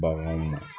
Baganw na